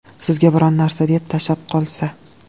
Sizga biron narsa deb, tashab qolsa?